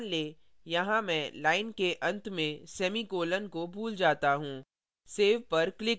अब मान लें यहाँ मैं line के अंत में semicolon को भूल जाता हूँ